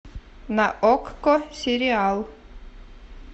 на окко сериал